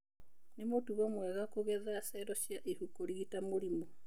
Nĩ mũtugo mwega kũgetha cello cia ihu kũrigita mũrimũ.